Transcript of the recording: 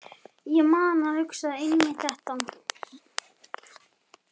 Ég man að ég hugsaði einmitt þetta.